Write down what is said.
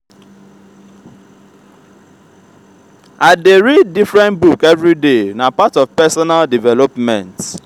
i dey read different book everyday na part of personal development.